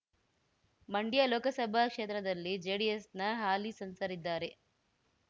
ಮಂಡ್ಯ ಲೋಕಸಭಾ ಕ್ಷೇತ್ರದಲ್ಲಿ ಜೆಡಿಎಸ್‌ನ ಹಾಲಿ ಸಂಸರಿದ್ದಾರೆ